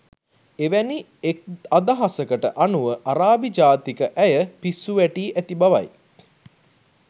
එවැනි එක්අදහසකට අනුව අරාබි ජාතික ඇය පිස්සු වැටී ඇති බවයි.